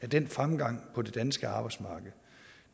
den fremgang på det danske arbejdsmarked